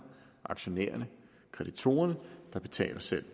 aktionærerne kreditorerne der betaler selv